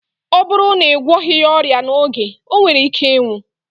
Ọ bụrụ na ị gwọghị ya ọrịa n'oge, o nwere ike ịnwụ